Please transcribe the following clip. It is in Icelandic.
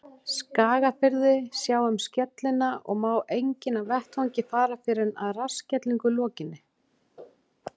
Skagafirði, sjá um skellina, og má enginn af vettvangi fara fyrr en að rassskellingu lokinni.